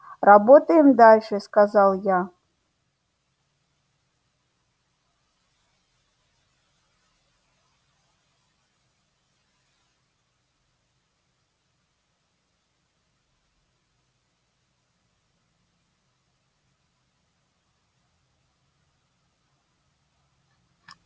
работаем дальше сказал я